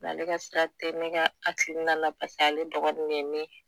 Mɛ ale ka sira te ne ka akilina na paseke ale dɔgɔnin de ye ne ye